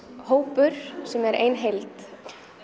hópur sem er ein heild